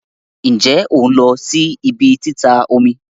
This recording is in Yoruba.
Nje on lo si ibi tita omi?